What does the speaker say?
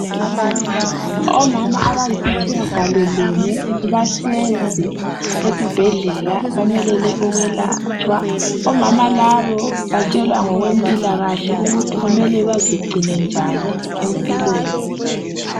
Omama abayisitshiyagalo lunye bahlezi esibhedlela bamelele ukwelatshwa. Omama labo batshelwa ngokwempilakahle ukuthi kumele bazegcine njani empilweni.